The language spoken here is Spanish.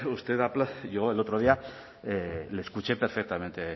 usted llegó el otro día le escuché perfectamente